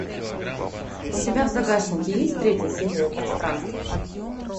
у тебя в загашнике есть третья серия пространство